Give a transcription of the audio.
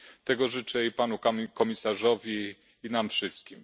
Tego życzę i panu komisarzowi, i nam wszystkim.